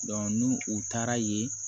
ni u taara ye